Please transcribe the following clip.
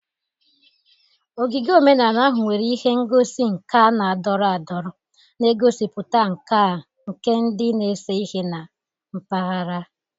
Ogige omenala ahụ nwere ihe ngosi nka na-adọrọ adọrọ, na-egosipụta nkà nke ndị na-ese ihe na mpaghara.